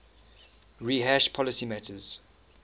rehash policy matters